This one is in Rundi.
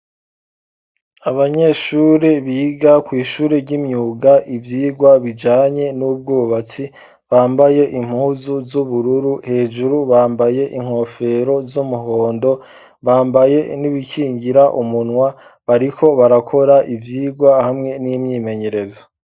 Abanyeshuri biga kw'ishuri ry'imyuga ivyirwa bijanye n'ubwubatsi bambaye impuzu z'ubururu hejuru bambaye inkofero z'umuhondo bambaye n'ibikingira umunwa bariko barakora ivyirwa hamwe n'imyimenyerezo.